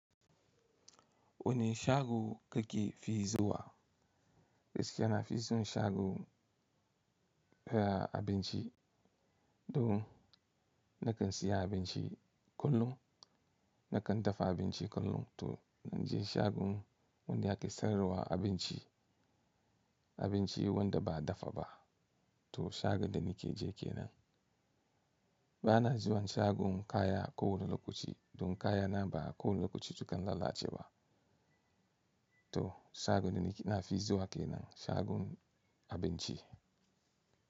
Wane shago kake fi zuwa? Gaskiya nafi son shagon kayab abinci? Don nakan siya abinci kullum, nakan dafa abinci kullum to inje shagon wanda ake sayarwa abinci, abinci wanda ba dafa ba. To shagon da nike je kenan. Bana zuwan shagon kaya ko wane lokaci don kayana ba kowane lokaci sukan lalace ba. To shagon da na fi zuwa kenan shagon abinci.